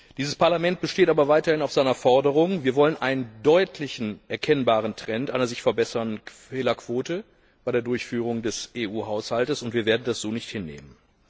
Dieses Parlament besteht aber weiterhin auf seiner Forderung Wir wollen einen deutlich erkennbaren Trend einer sich verbessernden Fehlerquote bei der Durchführung des EU Haushalts und wir werden das so nicht hinnehmen.